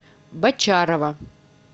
бочарова